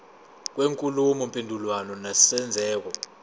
kwenkulumo mpendulwano nesenzeko